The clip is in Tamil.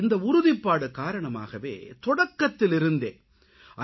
இந்த உறுதிப்பாடு காரணமாகவே தொடக்கத்திலிருந்தே ஐ